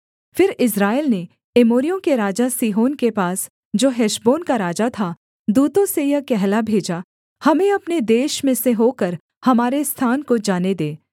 फिर इस्राएल ने एमोरियों के राजा सीहोन के पास जो हेशबोन का राजा था दूतों से यह कहला भेजा हमें अपने देश में से होकर हमारे स्थान को जाने दे